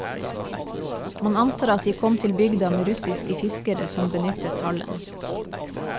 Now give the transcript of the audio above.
Man antar at de kom til bygda med russiske fiskere som benyttet hallen.